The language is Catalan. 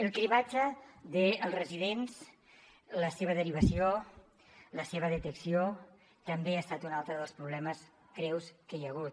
el cribratge dels residents la seva derivació la seva detecció també ha estat un altre dels problemes greus que hi ha hagut